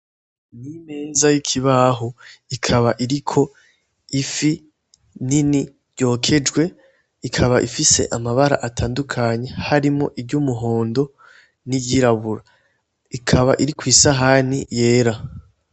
Nimeza y'ikibahu ikaba iriko ifi nini ryokejwe ikaba ifise amabara atandukanye harimo iryo umuhondo n'iyirabura ikaba iri kw'isahani yera.